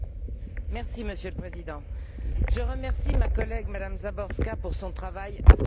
Monsieur le Président, je remercie ma collègue madame Záborská pour son travail approfondi.